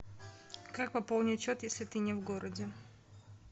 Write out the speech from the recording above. как пополнить счет если ты не в городе